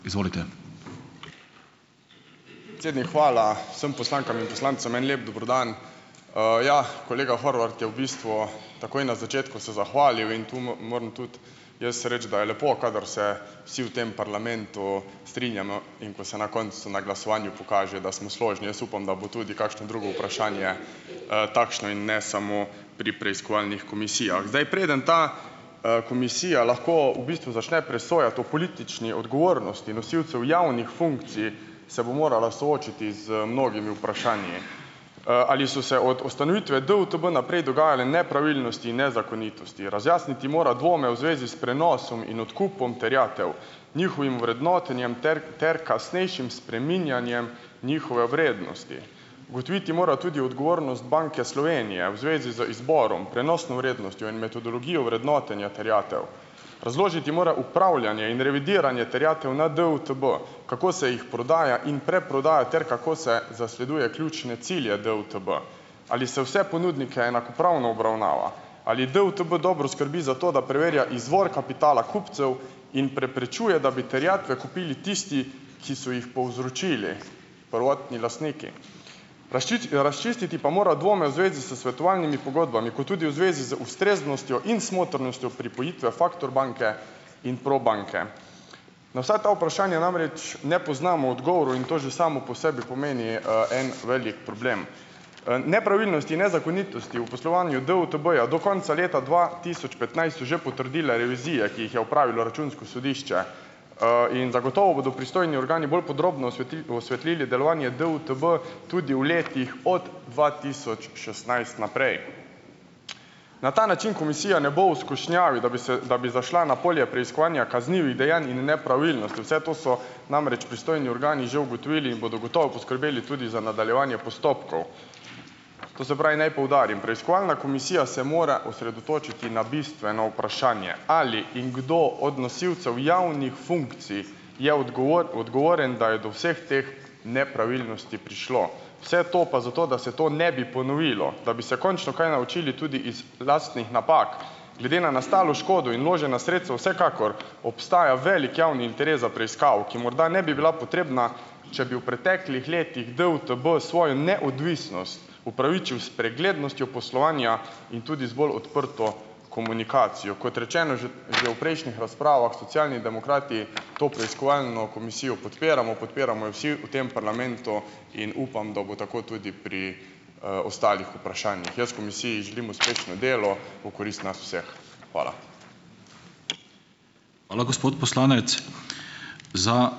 Izvolite. Predsednik, hvala, vsem poslankam in poslancem en lep dober dan! ja, kolega Horvat je v bistvu takoj na začetku se zahvalil in tu moram tudi jaz reči, da je lepo, kadar se vsi v tem parlamentu strinjamo, in ko se na koncu na glasovanju pokaže, da smo složni. Jaz upam, da bo tudi kakšno drugo vprašanje, takšno in ne samo pri preiskovalnih komisijah. Zdaj, preden ta, komisija lahko v bistvu začne presojati o politični odgovornosti nosilcev javnih funkcij, se bo morala soočiti z mnogimi vprašanji: ali so se od ustanovitve DUTB naprej dogajale nepravilnosti in nezakonitosti. Razjasniti mora dvome v zvezi s prenosom in odkupom terjatev, njihovim vrednotenjem ter ter kasnejšim spreminjanjem njihove vrednosti. Ugotoviti mora tudi odgovornost Banke Slovenije v zvezi z izborom, prenosno vrednostjo in metodologijo vrednotenja terjatev. Razložiti mora upravljanje in revidiranje terjatev na DUTB, kako se jih prodaja in preprodaja ter kako se zasleduje ključne cilje DUTB. Ali se vse ponudnike enakopravno obravnava. Ali DUTB dobro skrbi za to, da preverja izvor kapitala kupcev in preprečuje, da bi terjatve kupili tisti, ki so jih povzročili, prvotni lastniki. razčistiti pa mora dvome v zvezi s svetovalnimi pogodbami kot tudi v zvezi z ustreznostjo in smotrnostjo pripojitve Factor banke in Probanke. Na vsa ta vprašanja namreč ne poznamo odgovorov in to že samo po sebi pomeni, en velik problem. nepravilnosti in nezakonitosti v poslovanju DUTB-ja do konca leta dva tisoč petnajst že potrdila revizija, ki jih je opravilo Računsko sodišče, in zagotovo bodo pristojni organi bolj podrobno osvetlili delovanje DUTB tudi v letih od dva tisoč šestnajst naprej. Na ta način komisija ne bo v skušnjavi, da bi se, da bi zašla na polje preiskovanja kaznivih dejanj in nepravilnosti. Vse to so namreč pristojni organi že ugotovili in bodo gotovo poskrbeli tudi za nadaljevanje postopkov. To se pravi, naj poudarim, preiskovalna komisija se mora osredotočiti na bistveno vprašanje: ali in kdo od nosilcev javnih funkcij je odgovoren, da je do vseh teh nepravilnosti prišlo. Vse to pa zato, da se to ne bi ponovilo, da bi se končno kaj naučili tudi iz lastnih napak. Glede na nastalo škodo in vložena sredstva vsekakor obstaja velik javni interes za preiskavo, ki morda ne bi bila potrebna, če bi v preteklih letih DUTB svojo neodvisnost upravičil s preglednostjo poslovanja in tudi z bolj odprto komunikacijo. Kot rečeno že v prejšnjih razpravah, Socialni demokrati to preiskovalno komisijo podpiramo, podpiramo jo vsi v tem parlamentu in upam, da bo tako tudi pri, ostalih vprašanjih. Jaz komisiji želim uspešno delo v korist nas vseh. Hvala. Hvala, gospod poslanec. Za ...